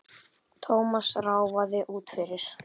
Thomas ráfaði út fyrir.